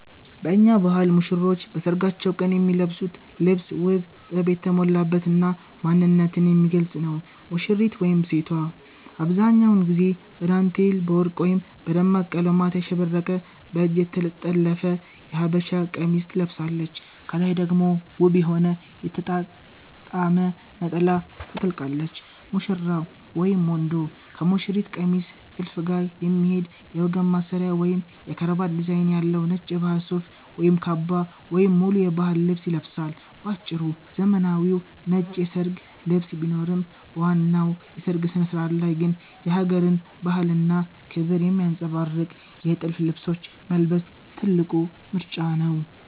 በእኛ ባህል ሙሽሮች በሰርጋቸው ቀን የሚለብሱት ልብስ ውብ፣ ጥበብ የተሞላበት እና ማንነትን የሚገልጽ ነው፦ ሙሽሪት (ሴቷ)፦አብዛኛውን ጊዜ በዳንቴል፣ በወርቅ ወይም በደማቅ ቀለማት ያሸበረቀ በእጅ የተጠለፈ የሀበሻ ቀሚስትለብሳለች። ከላይ ደግሞ ውብ የሆነ የተጣጣመ ነጠላ ታጠልቃለች። ሙሽራው (ወንዱ)፦ ከሙሽሪት ቀሚስ ጥልፍ ጋር የሚሄድ የወገብ ማሰሪያ ወይም የከረባት ዲዛይን ያለው ነጭ የባህል ሱፍ (ካባ) ወይም ሙሉ የባህል ልብስ ይለብሳል። ባጭሩ፤ ዘመናዊው ነጭ የሰርግ ልብስ ቢኖርም፣ በዋናው የሰርግ ስነ-ስርዓት ላይ ግን የሀገርን ባህልና ክብር የሚያንጸባርቁ የጥልፍ ልብሶችን መልበስ ትልቁ ምርጫ ነው።